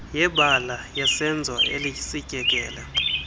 yebala yesenzo esityekele